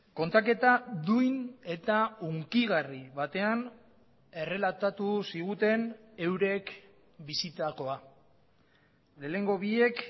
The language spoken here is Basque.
kontaketa duin eta hunkigarri batean errelatatu ziguten eurek bizitakoa lehenengo biek